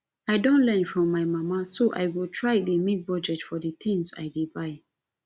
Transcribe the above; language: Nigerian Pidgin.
i don learn from my mama so i go try dey make budget for the things i dey buy